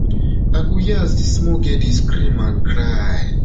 i go hear as di small girl dey scream and cry